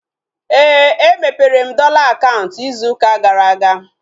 Éè, e mepere m dọla akaụntụ ịzụ ụka gara aga